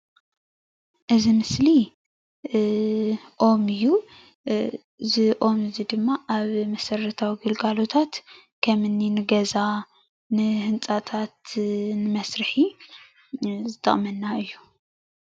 እዚ ምስሊ ኦም እዩ። እዚ ኦም እዚ ድማ ኣብ መሰረታዊ ግልጋሎታት ከም እኒ ንገዛ ንህንፃታትን ንመስርሒ ዝጠቅመና እዩ።